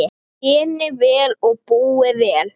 Þéni vel og búi vel.